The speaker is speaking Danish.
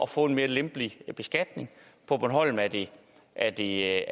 få en mere lempelig beskatning på bornholm er det er det